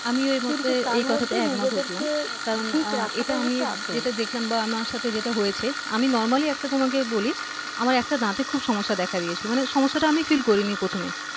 আমিও এই কথাতে একমত হলাম কারণ এটা আমি যেটা দেখলাম বা আমার সাথে যেটা হয়েছে আমি normally একটা তোমাকে বলি আমার একটা দাতে খুব সমস্যা দেখা দিয়েছিল মানে সমস্যাটা আমিই feel করিনি প্রথমে